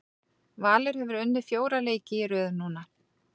Valur hefur unnið fjóra leiki í röð núna.